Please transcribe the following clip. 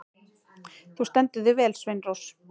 Þú stendur þig vel, Sveinrós!